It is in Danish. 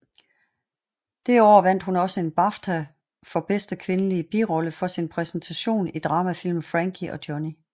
Det år vandt hun også en BAFTA for bedste kvindelige birolle for sin præstation i dramafilmen Frankie og Johnny